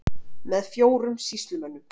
Með fjórum sýslumönnum